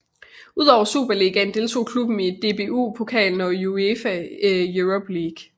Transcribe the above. Udover Superligaen deltog klubben i DBU Pokalen og UEFA Europa League